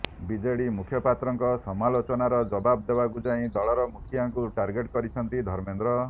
BJD ମୁଖପାତ୍ରଙ୍କ ସମାଲୋଚନାର ଜବାବ ଦେବାକୁ ଯାଇ ଦଳର ମୁଖିଆଙ୍କୁ ଟାର୍ଗେଟ୍ କରିଛନ୍ତି ଧର୍ମେନ୍ଦ୍ର